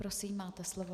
Prosím, máte slovo.